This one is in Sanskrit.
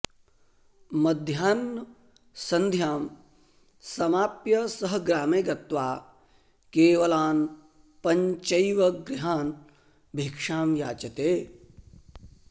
मध्याह्नसन्ध्यां समाप्य सः ग्रामे गत्वा केवलान् पञ्चैव गृहान् भीक्षां याचते